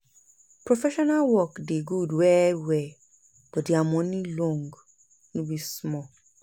professional work dey gud well well but dia moni long no be small